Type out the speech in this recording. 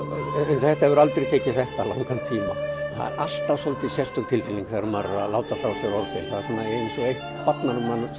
þetta hefur aldrei tekið þetta langan tíma það er alltaf svolítið sérstök tilfinning þegar maður er að láta frá sér orgel það er eins og eitt barnanna